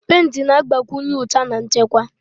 Pentị na-agbakwụnye ụcha na nchekwa.